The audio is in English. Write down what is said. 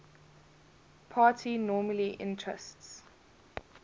party normally entrusts